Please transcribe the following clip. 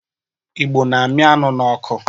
Igbo na-amị anụ n'ọkụ.